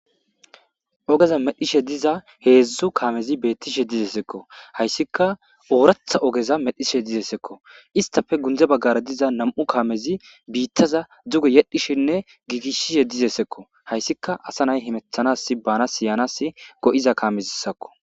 Ogeza medhishe diza heedzdzu kaamezi beettishe dizesekko hayssika ooratha ogeza medhishe dizesekko istafe gundze baggare diza nam'u kaamezi biittaza duge yedhishinne giigishishe dizeesekko hayssika asa nay himethanas bana siyanas go'iza kaamezissakko.